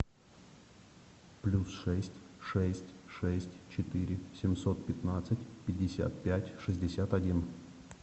плюс шесть шесть шесть четыре семьсот пятнадцать пятьдесят пять шестьдесят один